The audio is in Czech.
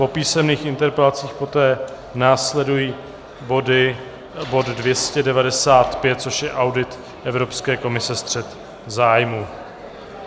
Po písemných interpelacích poté následuje bod 295, což je audit Evropské komise, střet zájmů.